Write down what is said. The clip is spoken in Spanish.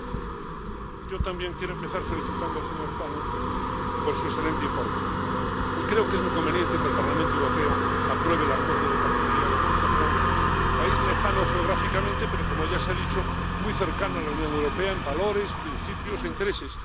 Señor presidente, yo también quiero empezar felicitando al señor Tannock por su excelente informe. Creo que es muy conveniente que el Parlamento Europeo apruebe el Acuerdo de Asociación con Nueva Zelanda, país lejano geográficamente, pero, como ya se ha dicho, muy cercano a la Unión Europea en valores, principios e intereses.